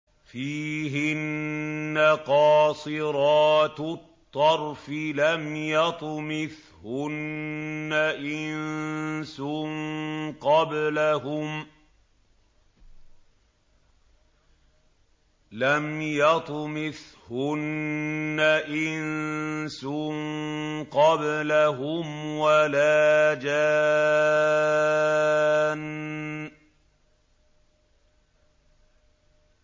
فِيهِنَّ قَاصِرَاتُ الطَّرْفِ لَمْ يَطْمِثْهُنَّ إِنسٌ قَبْلَهُمْ وَلَا جَانٌّ